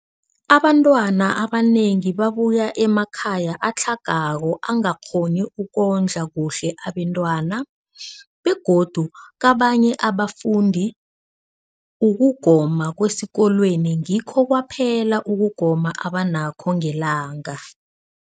Abantwana abanengi babuya emakhaya atlhagako angakghoni ukondla kuhle abentwana, begodu kabanye abafundi, ukugoma kwesikolweni ngikho kwaphela ukugoma abanakho ngelanga.